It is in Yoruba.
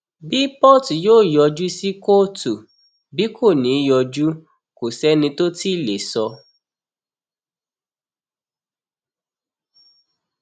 bí port yóò yọjú sí kóòtù bí kò ní í yọjú kò sẹni tó tì í lè sọ